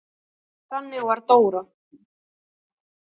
Þannig var Dóra.